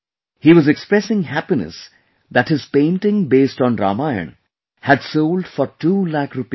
He was expressing happiness that his painting based on Ramayana had sold for two lakh rupees